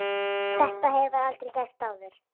Þetta hefur aldrei gerst áður.